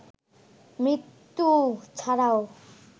মৃত্যু ছাড়াও